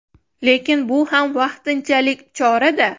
Lekin bu ham vaqtinchalik chora-da.